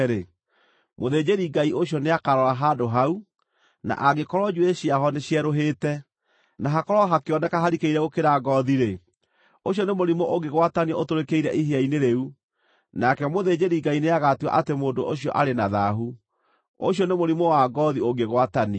mũthĩnjĩri-Ngai ũcio nĩakarora handũ hau, na angĩkorwo njuĩrĩ ciaho nĩcierũhĩte, na hakorwo hakĩoneka harikĩire gũkĩra ngoothi-rĩ, ũcio nĩ mũrimũ ũngĩgwatanio ũtũrĩkĩire ihĩa-inĩ rĩu. Nake mũthĩnjĩri-Ngai nĩagatua atĩ mũndũ ũcio arĩ na thaahu; ũcio nĩ mũrimũ wa ngoothi ũngĩgwatanio.